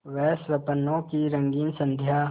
वह स्वप्नों की रंगीन संध्या